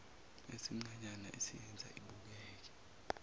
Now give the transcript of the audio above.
esincanyana esiyenza ibukeke